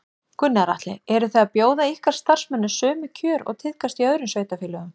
Gunnar Atli: Eru þið að bjóða ykkar starfsmönnum sömu kjör og tíðkast í öðrum sveitarfélögum?